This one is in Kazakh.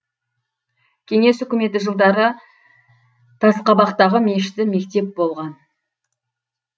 кеңес үкіметі жылдары тасқабақтағы мешіті мектеп болған